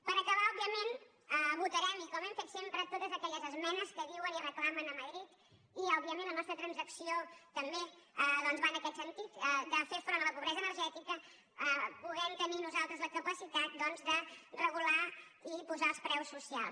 per acabar òbviament votarem com hem fet sempre totes aquelles esmenes que diuen i reclamen a madrid i òbviament la nostra transacció també doncs va en aquest sentit de fer front a la pobresa energètica podent tenir nosaltres la capacitat de regular i posar els preus socials